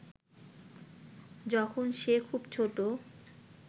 যখন সে খুব ছোট